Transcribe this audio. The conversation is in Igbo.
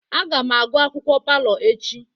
Aga m agụ akwukwuo palọ echi.